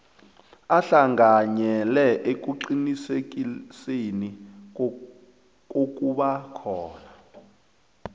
ahlanganyele ekuqinisekiseni kokubakhona